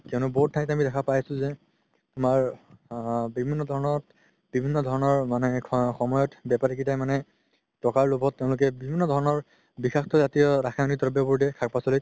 বহুত ঠাইত আমি দেখা পাই আছো যে আমাৰ আ বিভিন্ন ধৰণত বিভিন্ন ধৰণৰ মানে খোৱা সময়ত বেপাৰি কেইটা মানে টকাৰ লোভত তেওলোকে বিভিন্ন ধৰণৰ বিষাক্ত জাতিয় ৰাসায়নিক দ্ৰব্যবোৰ দিয়ে শাক পাচলিত